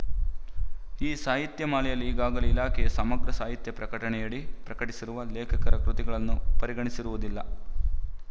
ಈ ಸಾಹಿತ್ಯ ಮಾಲೆಯಲ್ಲಿ ಈಗಾಗಲೇ ಇಲಾಖೆಯು ಸಮಗ್ರ ಸಾಹಿತ್ಯ ಪ್ರಕಟಣೆಯಡಿ ಪ್ರಕಟಿಸಿರುವ ಲೇಖಕರ ಕೃತಿಗಳನ್ನು ಪರಿಗಣಿಸಿರುವುದಿಲ್ಲ